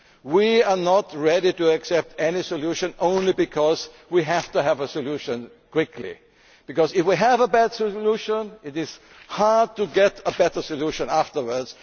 solution. We are not ready to accept any solution just because we have to have a solution quickly, because if we have a bad solution it will be hard to get a better solution afterwards.